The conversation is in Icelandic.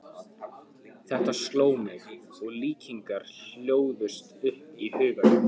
Þetta sló mig, og líkingar hlóðust upp í huganum.